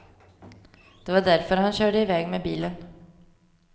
Det var därför han körde i väg med bilen.